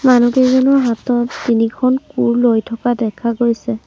মানুহকেইজনৰ হাতত তিনিখন কোৰ লৈ থকাও দেখা গৈছে।